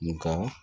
Nga